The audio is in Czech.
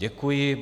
Děkuji.